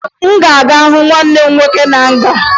Ị ga-aga hụ nwanne gị nwoke na nga!